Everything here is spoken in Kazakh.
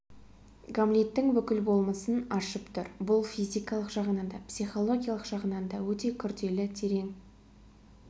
гамлеттің бүкіл болмысын ашып тұр бұл физикалық жағынан да психологиялық жағынан да өте күрелі терең